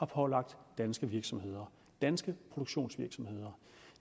pålagt danske virksomheder danske produktionsvirksomheder